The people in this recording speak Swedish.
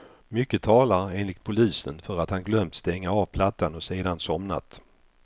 Mycket talar, enligt polisen, för att han glömt stänga av plattan och sedan somnat.